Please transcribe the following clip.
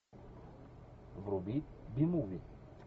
вруби би муви